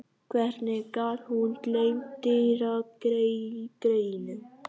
Hvernig gat hún gleymt Týra greyinu?